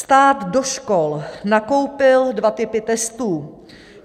Stát do škol nakoupil dva typy testů.